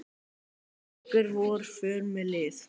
liggur vor för með lið